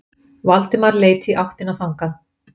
Valdimar leit í áttina þangað.